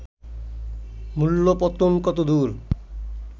মূল্য-পতন কতদূর